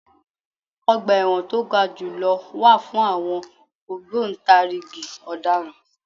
Ọgbà ẹ̀wọ̀n to ga jù lọ wà fún àwọn ògbòǹtarìgì Ọ̀daràn.